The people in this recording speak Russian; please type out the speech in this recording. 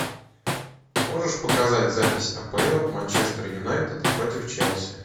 можешь показать запись апл манчестер юнайтед против челси